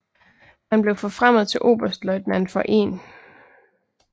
Han blev forfremmet til oberstløjtnant for 1